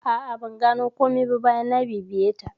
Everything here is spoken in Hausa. A'a, ban gano komai ba bayan na bibiye ta.